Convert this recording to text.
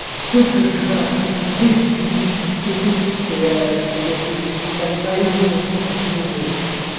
супер игра просто десять из десяти лучшие что я видел из жизни там на игры надо тридцать минут